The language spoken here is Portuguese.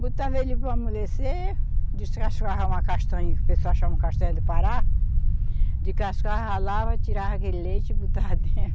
Botava ele para amolecer, descascava uma castanha, que o pessoal chama castanha do Pará, descascava, ralava, tirava aquele leite e botava dentro.